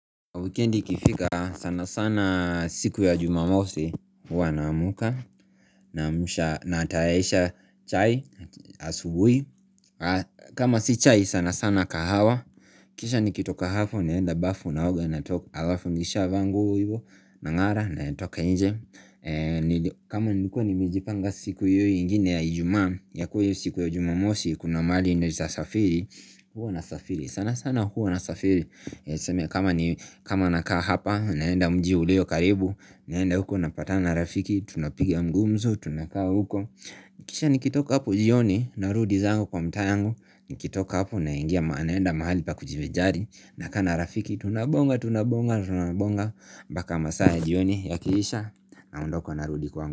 Wikendi kifika sana sana siku ya jumamosi wanamuka nataisha chai asubuhi kama si chai sana sana kahawa Kisha ni kitoka hafo ni enda bafu naoga natoka alafu nisha vaa nguo ivo na ngara natoka inje kama nikuwa ni mijipanga siku yui ingine ya ijuma ya kuwe siku ya jumamosi kuna maali ndoja safiri huu na safiri sana sana huu na safiri kama na kaa hapa naenda mji uleo karibu naenda huko na pata na rafiki Tunapigia mgumzu tunakaa huko Nikisha nikitoka hapo jioni Narudi zango kwa mtayangu Nikitoka hapo na ingia maanaenda mahali pa kujive jari Nakana rafiki tunabonga tunabonga tunabonga Baka masaya jioni ya kikiisha na hundoko narudi kwa yangu.